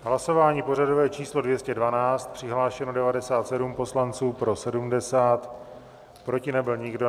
Hlasování pořadové číslo 212, přihlášeno 97 poslanců, pro 70, proti nebyl nikdo.